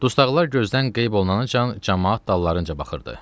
Dustaqlara gözdən qeyb oluncan camaat dallarınca baxırdı.